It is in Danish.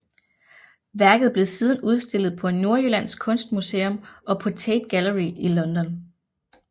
Værket blev siden udstillet på Nordjyllands Kunstmuseum og på Tate Gallery i London